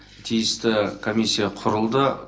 тиісті комиссия құрылды